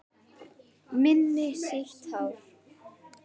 Minni sítar, já